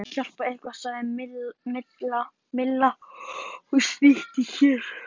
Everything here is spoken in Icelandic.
Ég vona bara að þú hafir getað hjálpað eitthvað til sagði Milla og snýtti sér.